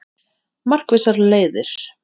Markvissar leiðir